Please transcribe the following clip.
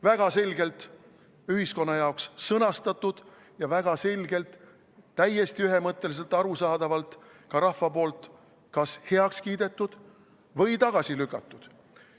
Väga selgelt ühiskonna jaoks sõnastatud ja väga selgelt, täiesti ühemõtteliselt, arusaadavalt ka rahva poolt kas heaks kiidetud või tagasi lükatud.